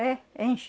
É, enche.